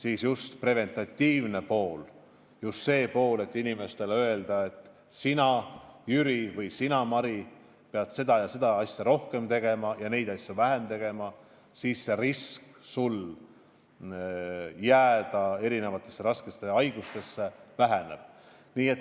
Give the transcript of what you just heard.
Just see preventatiivne pool, just see, et saaks inimestele öelda, et sina, Jüri, või sina, Mari, pead seda ja seda asja rohkem tegema ja neid asju vähem tegema, siis sul risk jääda ühte või teise raskesse haigusse väheneb.